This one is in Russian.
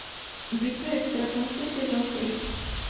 битва экстрасенсов сезон три